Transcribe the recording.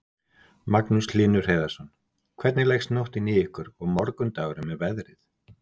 Magnús Hlynur Hreiðarsson: Hvernig leggst nóttin í ykkur og morgundagurinn með veðrið?